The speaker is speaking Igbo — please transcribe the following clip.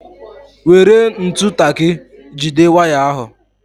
Were ntụ taki jide waya ahu